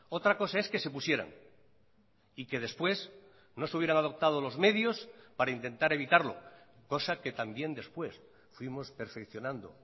otra cosa es que se pusieran y que después no se hubieran adoptado los medios para intentar evitarlo cosa que también después fuimos perfeccionando